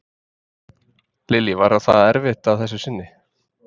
Lillý: Var það erfitt að þessu sinni?